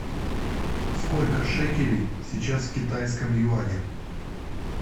сколько шекелей сейчас в китайском юане